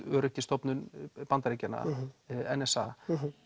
öryggisstofnun Bandaríkjanna n s a